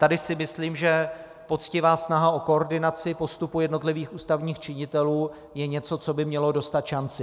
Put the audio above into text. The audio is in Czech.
Tady si myslím, že poctivá snaha o koordinaci postupu jednotlivých ústavních činitelů je něco, co by mělo dostat šanci.